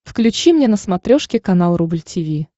включи мне на смотрешке канал рубль ти ви